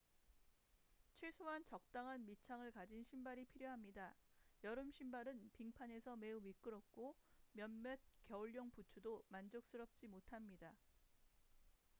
최소한 적당한 밑창을 가진 신발이 필요합니다 여름 신발은 빙판에서 매우 미끄럽고 몇몇 겨울용 부츠도 만족스럽지 못합니다